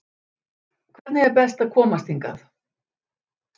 Hvernig er best að komast hingað?